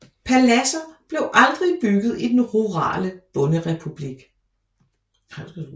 Paladser blev aldrig bygget i den rurale bonderepublik